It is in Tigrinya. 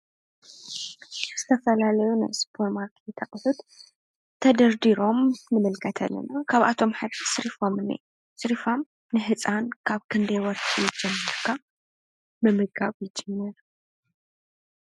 ዝተፈላለዩ ናይ ስፖርማርኬት ኣቁሑት ተደርዲሮም ንምልከት ኣለና። ካብኣቶም ሓደ ስሪፋም እዩ ዝንኤ ። ስሪፋም ህፃን ካብ ክንዳይ ወርሒ ጀሚርካ ምምጋብ ይጅምር ?